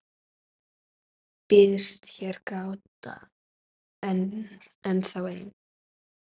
Býðst hér gáta ennþá ein,.